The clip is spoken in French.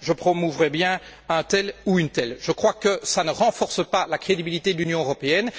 je promouvrais bien un tel ou une telle. Cela ne renforce pas la crédibilité de l'Union européenne.